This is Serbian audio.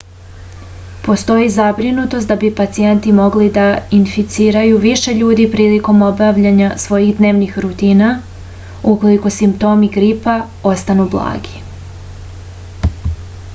postoji zabrinutost da bi pacijenti mogli da inficiraju više ljudi prilikom obavljanja svojih dnevnih rutina ukoliko simptomi gripa ostanu blagi